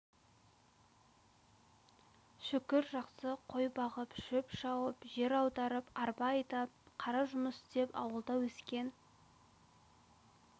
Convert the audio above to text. шүкір жақсы қой бағып шөп шауып жер аударып арба айдап қара жұмыс істеп ауылда өскен